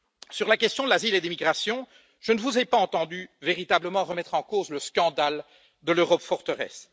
Sur la question de l'asile et des migrations, je ne vous ai pas entendu véritablement remettre en cause le scandale de l'Europe forteresse.